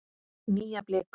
Nýja bliku.